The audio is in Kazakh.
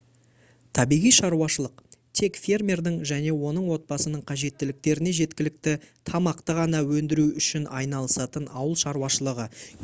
табиғи шаруашылық тек фермердің және оның отбасының қажеттіліктеріне жеткілікті тамақты ғана өндіру үшін айналысатын ауыл шаруашылығы